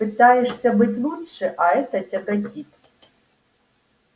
пытаешься быть лучше а это тяготит